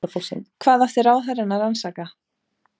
Hvað átti ráðherrann að rannsaka?